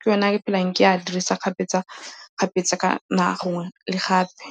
Ke one a ke phelang ke a dirisa kgapetsa-kgapetsa ka gangwe le gape.